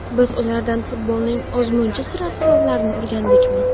Biz ulardan futbolning ozmuncha sir-asrorlarini o‘rgandikmi?